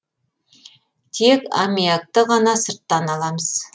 тек амиакты ғана сырттан аламыз